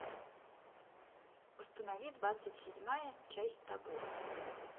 установи двадцать седьмая часть табу